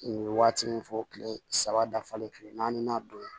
U ye waati min fɔ kile saba dafalen kile naani don